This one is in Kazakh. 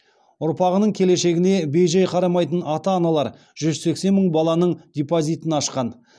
ұрпағының келешегіне бей жай қарамайтын ата аналар жүз сексен мың баланың депозитін ашқан